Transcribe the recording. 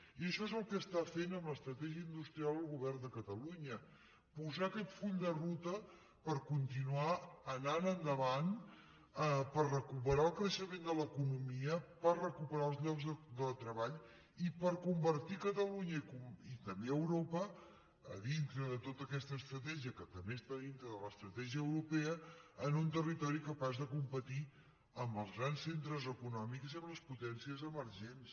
i això és el que està fent amb l’estratègia industrial el govern de catalunya posar aquest full de ruta per continuar anant endavant per recuperar el creixement de l’economia per recuperar els llocs de treball i per convertir catalunya i també europa a dintre de tota aquesta estratègia que també està dintre de l’estratègia europea en un territori capaç de competir amb els grans centres econòmics i amb les potències emergents